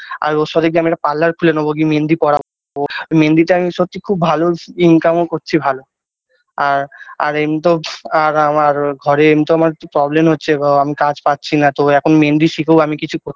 আর ওর সাথে গিয়ে আমি একটা parlour খুলে নেবো গিয়ে মেহেন্দি পড়াবো মেহেন্দিটা আমি সবচেয়ে খুব ভালো income -ও করছি ভালো আর আর এমনিতেও আর আর আর ঘরে এমনিতেও একটু problem হচ্ছে গো আমি কাজ পাচ্ছি না তো এখন মেহেন্দি শিখেও আমি কিছু কর~